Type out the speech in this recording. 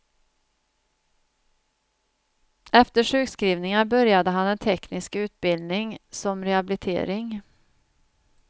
Efter sjukskrivningar började han en teknisk utbildning som rehabilitering.